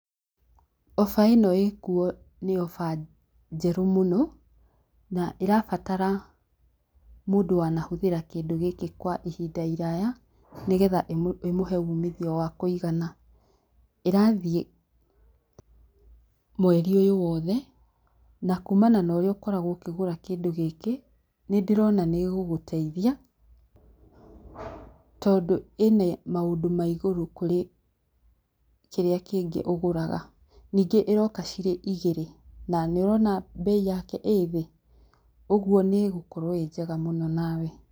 Oba ĩno ĩkuo nĩ oba njerũ mũno na ĩrabatara mũndũ wanahũthĩra kĩndũ gĩkĩ kwa ihinda iraa nĩgetha ĩmũhe umithio wa kũigana. ĩrathiĩ mweri ũyũ wothe na kuma norĩa ũkoragwo ũkĩgũra kĩndũ gĩkĩ, nĩndĩrona nĩgũgũteithia tondũ ĩna maũndũ maigũrũ kũrĩ kĩrĩa ũgũraga. Nyingĩ iroka cirĩ igĩrĩ. Nanĩũrona mbei yake ĩthĩ, ũguo nĩĩgũkorwo ĩnjega mũno nawe.